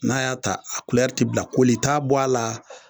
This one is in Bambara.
N'a y'a ta a ti bila, kolita bɔ a la